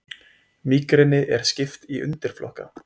Mígreni er skipt í undirflokka.